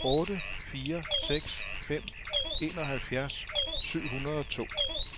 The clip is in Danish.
otte fire seks fem enoghalvfjerds syv hundrede og to